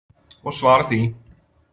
Og svara því.